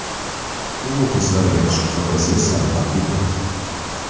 U muxlislariga qishki fotosessiyasini taqdim etdi.